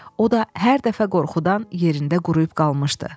O da hər dəfə qorxudan yerində quruyub qalmışdı.